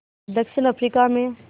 दक्षिण अफ्रीका में